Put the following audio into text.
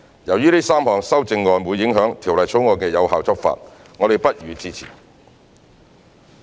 由於這3項修正案會影響《條例草案》的有效執法，我們不予支持。